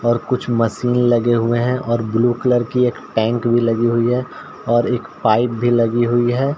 और कुछ मशीन लगे हुए है और ब्लू कलर की एक टैंक भी लगी हुई है और एक पाइप भी लगी हुई है।